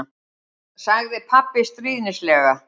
sagði pabbi stríðnislega.